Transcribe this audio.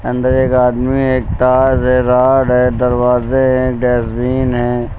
अंदर एक आदमी है हैं रॉड हैं दरवाजे हैं डस्टबिन है।